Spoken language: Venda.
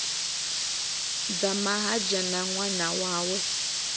dzama ha dzhena ṅwana wawe